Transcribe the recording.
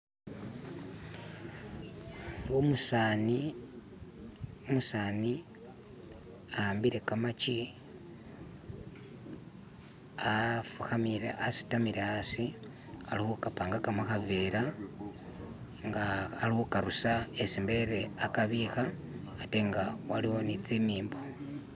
umusani ahambile kamakyi asitamile asi ali hukapangaka muhavela nga ali hukarusa isi mbele akabiha atenga waliwo ni tsimimbo